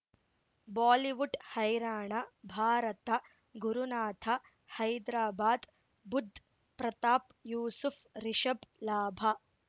Bollywood ಹೈರಾಣ ಭಾರತ ಗುರುನಾಥ ಹೈದ್ರಾಬಾದ್ ಬುಧ್ ಪ್ರತಾಪ್ ಯೂಸುಫ್ ರಿಷಬ್ ಲಾಭ